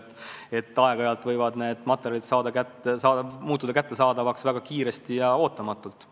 Nii et aeg-ajalt võivad mingid materjalid muutuda kättesaadavaks väga kiiresti ja ootamatult.